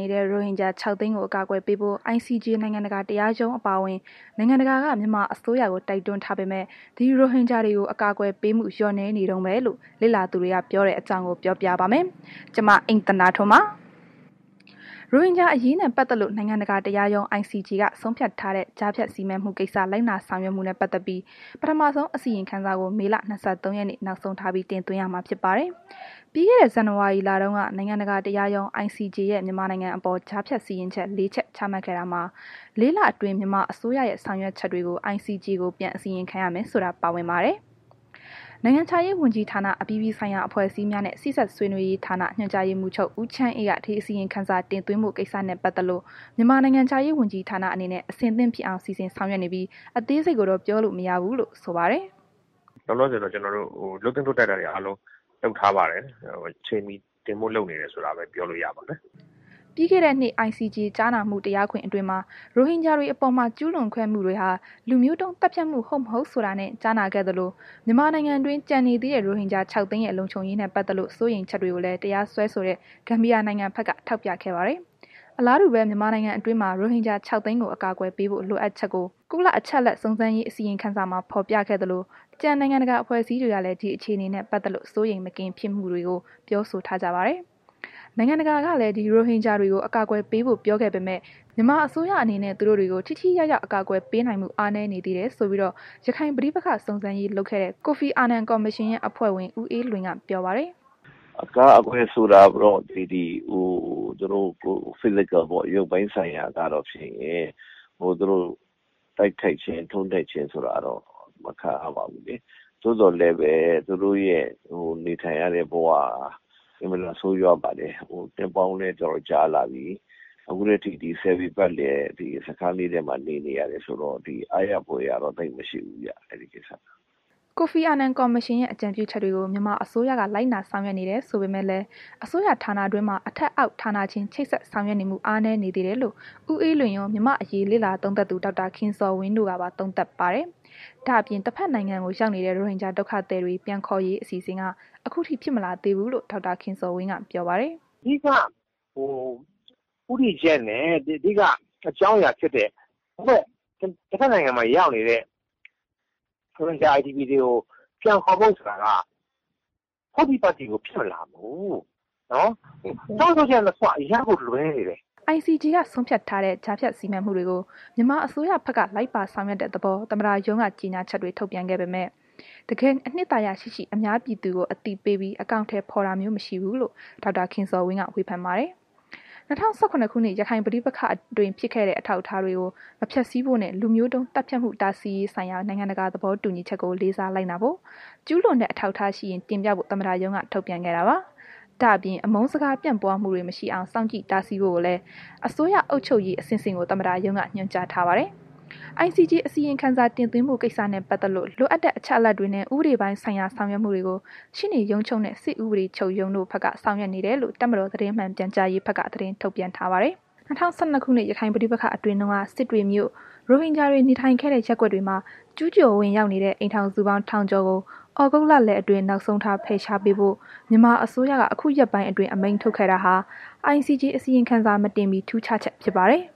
နေတဲ့ ရိုဟင်ဂျာ ၆၀၀,၀၀၀ ကို အကာအကွယ်ပေးဖို့ ICJ နိုင်ငံတကာတရားရုံး အပါအဝင် နိုင်ငံတကာက မြန်မာအစိုးရကို တိုက်တွန်းထားပေမဲ့ ဒီ ရိုဟင်ဂျာတွေကို အကာအကွယ်ပေးမှု လျော့နည်းနေတုန်းပဲရှိတယ်လို့ လေ့လာသူတွေက ပြောတဲ့ အကြောင်းကို ဗွီအိုအေမြန်မာပိုင်း သတင်းထောက် မအိမ့်သန္တာထွန်းက ပြောပြပါမယ်။ ရိုဟင်ဂျာအရေးနဲ့ ပတ်သက်လို့ နိုင်ငံတကာ တရားရုံး ICJ က ဆုံးဖြတ်ထားတဲ့ ကြားဖြတ်စီမံမှုကိစ္စလိုက်နာဆောင်ရွက်မှုနဲ့ ပတ်သက်ပြီး ပထမဆုံး အစီရင်ခံစာကို မေလ ၂၃ ရက်နေ့ နောက်ဆုံးထားပြီး တင်ရသွင်းမှာဖြစ်ပါတယ်။ ပြီးခဲ့တဲ့ ဇန်နဝါရီလတုန်းက နိုင်ငံတကာ တရားရုံး ICJ ရဲ့မြန်မာနိုင်ငံအပေါ် ကြားဖြတ်စီရင်ချက် လေးချက် ချမှတ်ခဲ့တာမှာ လေးလအတွင်း မြန်မာအစိုးရရဲ့ ဆောင်ရွက်ချက်တွေကို ICJ ကို ပြန်အစီရင်ခံရမယ်ဆိုတာ ပါဝင်ပါတယ်။ နိုင်ငံခြားရေးဝန်ကြီးဌာန အပြည်ပြည်ဆိုင်ရာ အဖွဲ့အစည်းများနဲ့ စေ့စပ်ဆွေးနွေးရေးဌာန ညွှန်ကြားရေးမှူးချုပ် ဦးချမ်းအေးက ဒီအစီရင်ခံစာ တင်သွင်းဖို့ ကိစ္စနဲ့ ပတ်သက်လို့ မြန်မာနိုင်ငံခြားရေး ဝန်ကြီးဌာန အနေနဲ့ အဆင်သင့်ဖြစ်အောင် စီစဉ်ဆောင်ရွက်နေပြီး အသေးစိတ်ကိုတော့ ပြောလို့မရဘူးလို့ ဆိုပါတယ်။ “လောလောဆယ်တော့ကျနော်တို့ လုပ်သင့်လုပ်ထိုက်တာတွေအားလုံး လုပ်ထားပါတယ်။ အချိန်မှီတင်ဖို့လုပ်နေတယ်ဆိုတာပဲ ပြောလို့ရပါမယ်။” ပြီးခဲ့တဲ့နှစ် ICJ ကြားနာမှု တရားခွင်အတွင်းမှာ ရိုဟင်ဂျာအပေါ်မှာ ကျုးလွန်ခဲ့မှုတွေဟာ လူမျိုးတုံးသတ်ဖြတ်မှု ဟုတ်မဟုတ်ဆိုတာနဲ့ ကြားနာခဲ့သလို၊ မြန်မာနိုင်ငံတွင်း ကျန်နေသေးတဲ့ ရိုဟင်ဂျာ ၆၀၀,၀၀၀ ရဲ့ လုံခြုံရေးနဲ့ပတ်သက်လို့စိုးရိမ်ချက်ကိုလည်း တရားစွဲဆိုတဲ့ ဂန်ဘီယာနိုင်ငံဘက်က ထောက်ပြခဲ့ပါတယ်။ အလားတူပဲ မြန်မာနိုင်ငံတွင်း ရိုဟင်ဂျာ ၆၀၀,၀၀၀ ကို အကာအကွယ်ပေးဖို့လိုအပ်ချက်ကို ကုလ အချက်အလက်စုံစမ်းရေးအစီရင်ခံစာမှာ ဖော်ပြခဲ့သလို ကျန်နိုင်ငံတကာအဖွဲ့အစည်းတွေကလည်း ဒီအခြေအနေနဲ့ ပတ်သက်လို့ စိုးရိမ်မကင်းဖြစ်မှုတွေကို ပြောဆိုထားကြပါတယ်။ နိုင်ငံတကာကလည်း ဒီရိုဟင်ဂျာတွေကို အကာအကွယ်ပေးဖို့ ပြောခဲ့ပေမဲ့ မြန်မာအစိုးရအနေနဲ့ သူတို့တွေကို ထိထိရောက်ရောက် အကာအကွယ်ပေးနိုင်မှု အားနည်းနေသေးတယ်ဆိုပြီးတော့ ရခိုင်ပဋိပက္ခ စုံစမ်းရေးလုပ်ခဲ့တဲ့ ကိုဖီအာနန် ကော်မရှင်ရဲ့ အဖွဲ့ဝင် ဦးအေးလွင်က ပြောပါတယ်။ “အကာအကွယ်ဆိုတာကိုတော့ ဒီ ရုပ်ပိုင်းဆိုင်ရာကတော့ဖြင့် သူတို့ တိုက်ခိုက်ခြင်း ထိုးနှက်ခြင်းဆိုတာကတော့ မခံရပါဘူးလေ။ သို့သော်လည်းပဲ သူတို့ရဲ့ နေထိုင်ရတဲ့ ဘဝက အင်မတန်ဆိုးရွားပါတယ်။ နှစ်ပေါင်းလည်း တော်တော်ကြာလာပြီ။ အခုထက်ထိ ဒီ ဆယ်ပေပတ်လည် အခန်းလေးထဲမှာ နေနေရတုန်းဆိုတော့လေ အားရဖွယ်ရာတော့ သိပ်မရှိဘူးဗျ အဲ့ဒီကိစ္စက။” ကိုဖီအာနန်ကော်မရှင်ရဲ့ အကြံပြုချက်တွေကို မြန်မာအစိုးရက လိုက်နာဆောင်ရွက်နေတယ်ဆိုပေမဲ့လည်း အစိုးရဌာနတွင်းမှာ အထက်အောက် ဌာနချင်း ချိတ်ဆက်ဆောင်ရွက်နေမှု အားနည်းနေသေးတယ်လို့ ဦးအေးလွင်ရော မြန်မာအရေးလေ့လာသုံးသပ်သူ ဒေါက်တာ ခင်ဇော်ဝင်းတို့က သုံးသပ်ပါတယ်။ ဒါ့အပြင် တဘက်နိုင်ငံရောက်နေတဲ့ ရိုဟင်ဂျာဒုက္ခသည်တွေ ပြန်ခေါ်ရေးအစီအစဉ်က အခုထိ ဖြစ်မလာသေးဘူးလို့ ဒေါက်တာခင်ဇော်ဝင်းက ပြောပါတယ်။ “အဓိက ဦးတည်ချက်နဲ့ အဓိက အကြောင်းအရာဖြစ်တဲ့ တဘက်နိုင်ငံမှာရောက်နေတဲ့ ရိုဟင်ဂျာ IDP တွေကို ပြန်ခေါ်ဖို့ဆိုတာက ဟုတ်တိပတ်တိကို ဖြစ်မလာဘူး။ ဆုံးဖြတ်ချက်နှစ်ခုက အရမ်းကိုလွဲနေတယ်။” ICJ ကဆုံးဖြတ်ထားတဲ့ ကြားဖြတ်စီမံမှုတွေကို မြန်မာအစိုးရကဘက်က လိုက်ပါဆောင်ရွက်တဲ့သဘော သမတရုံးက ကြေညာချက်တွေ ထုတ်ခဲ့ပေမဲ့ တကယ့်ကို အနှစ်သာရရှိရှိ အများပြည်သူကိုအသိပေးပြီး အကောင်အထည်ဖော်တာမျိုး မရှိဘူးလို့ ဒေါက်တာခင်ဇော်ဝင်းက ဝေဖန်ပါတယ်။ ၂၀၁၇ ရခိုင်ပဋိပက္ခအတွင်းဖြစ်ခဲ့တဲ့ အထောက်အထားတွေကို မဖျက်ဆီးဖို့နဲ့လူမျိုးတုံး သတ်ဖြတ်မှုတားဆီးရေးဆိုင်ရာ နိုင်ငံတကာသဘောတူညီချက်ကို လေးစားလိုက်နာဖို့ ကျူးလွန်တဲ့အထောက်အထားရှိရင်တင်ပြဖို့ သမ္မတရုံးက ထုတ်ပြန်ခဲ့တာပါ။ ဒါ့အပြင် အမုန်းစကား ပြန့်ပွားမှုတွေ မရှိအောင် စောင့်ကြည့်တားဆီးဖို့ကိုလည်း အစိုးရအုပ်ချုပ်ရေး အဆင့်ဆင့်ကို သမ္မတ ရုံးက ညွှန်ကြားထားပါတယ်။ICJ အစီရင်ခံစာတင်သွင်းဖို့ကိစ္စနဲ့ ပတ်သက်လို့ လိုအပ်တဲ့ အချက်အလက်တွေနဲ့ ဥပဒေပိုင်းဆိုင်ရာ ဆောင်ရွက်မှုတွေကို ရှေ့နေချုပ်ရုံးနဲ့ စစ်ဥပဒေချုပ်ရုံးတို့ဘက်က ဆောင်ရွက်နေတယ်လို့ တပ်မတော် သတင်းမှန်ပြန်ကြားရေးဘက်က သတင်းထုတ်ပြန်ထားပါတယ်။ ၂၀၁၂ ခုနှစ် ရခိုင်ပဋိပက္ခအတွင်းတုန်းက စစ်တွေမြို့ ရိုဟင်ဂျာတွေနေခဲ့တဲ့ ရပ်ကွက်တွေထဲမှာ ကျုးကျော်ဝင်ရောက်နေတဲ့ အိမ်ထောင်စုပေါင်း ထောင်ကျော်ကို သြဂုတ်လလယ်အတွင်းနောက်ဆုံးထားပြီး ပြန်လည်ဖယ်ရှားပေးဖို့ မြန်မာအစိုးရကမကြာသေးခင်က အမိန့်ထုတ်ပြန်ခဲ့တာကတော့ ICJ အစီရင်ခံစာမတင်မှီထူးခြားချက်ဖြစ်ပါတယ်။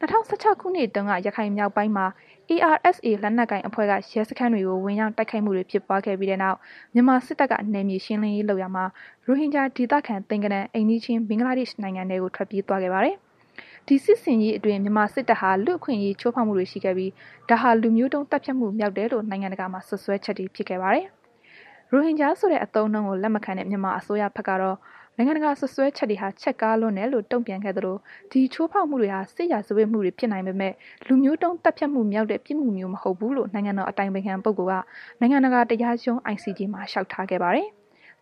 ၂၀၁၆ ခုနှစ်တုန်းက ရခိုင်မြောက်ပိုင်းမှာ ARSA လက်နက်ကိုင် အဖွဲ့က ရဲစခန်းတွေကို ဝင်ရောက် တိုက်ခိုက်မှုတွေ ဖြစ်ပွားခဲ့ပြီးတဲ့နောက် မြန်မာစစ်တပ်က နယ်မြေရှင်းလင်းရေးလုပ်ရာမှာ ရိုဟင်ဂျာ ဒေသခံ သိန်းဂဏန်း အိမ်နီးချင်း ဘဂ်လားဒေ့ရှ် နိုင်ငံထဲကို ထွက်ပြေးသွားခဲ့ပါတယ်။ ဒီစစ်ဆင်ရေးအတွင်း မြန်မာစစ်တပ်ဟာ လူ့အခွင့်အရေးချိုးဖောက်မှုတွေ ရှိခဲ့ပြီး ဒါတွေဟာ လူမျိုးတုံး သတ်ဖြတ်မှု မြောက်တယ်လို့ နိုင်ငံတကာမှာ စွပ်စွဲချက်တွေ ဖြစ်ခဲ့ပါတယ်။ ရိုဟင်ဂျာ ဆိုတဲ့ အသုံးအနှုန်းကို လက်မခံတဲ့ မြန်မာအစိုးရဘက်ကတော့ နိုင်ငံတကာစွပ်စွဲချက်တွေဟာ ချဲ့ကားလွန်းတယ်လို့ တုံ့ပြန်ခဲ့သလို ဒီချိုးဖောက်မှုတွေဟာ စစ်ရာဇဝတ်မှုတွေဖြစ်နိုင်ပေမဲ့ လူမျိုးတုန်းသတ်ဖြတ်မှုမြောက်တဲ့ ပြစ်မှုမျိုးမဟုတ်ဘူးလို့ နိုင်ငံတော် အတိုင်ပင်ခံပုဂ္ဂိုလ်က နိုင်ငံတကာ တရားရုံး ICJ မှာ လျှောက်ထားခဲ့ပါတယ်။